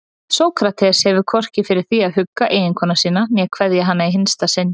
Sókrates hefur hvorki fyrir því að hugga eiginkonu sína né kveðja hana í hinsta sinn.